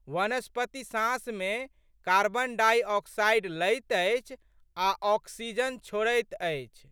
वनस्पति साँसमे carbon dioxide लैत अछि आ ऑक्सीजन छोड़ैत अछि।